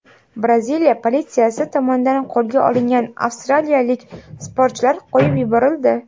Braziliya politsiyasi tomonidan qo‘lga olingan avstraliyalik sportchilar qo‘yib yuborildi.